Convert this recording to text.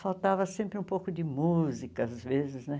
Faltava sempre um pouco de música às vezes, né?